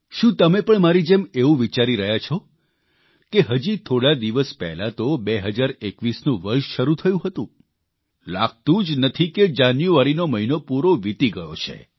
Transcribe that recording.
શું તમે પણ મારી જેમ એવું વિચારી રહ્યા છો કે હજી થોડા દિવસ પહેલાં તો 2021નું વર્ષ શરૂ થયું હતું લાગતું જ નથી કે જાન્યુઆરીનો પૂરો મહિનો વિતી ગયો છે